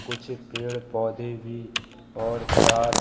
कुछ पेड़ पौधे भी और कार --